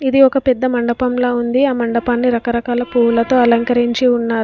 ఇది ఒక పెద్ద మండపం లా ఉంది ఆ మండపాన్ని రకరకాల పువ్వులతో అలంకరించి ఉన్నారు.